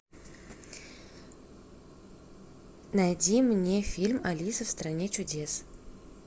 найди мне фильм алиса в стране чудес